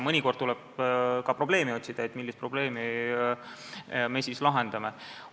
Mõnikord tuleb ka probleemi otsida, et millist probleemi me siis lahendame.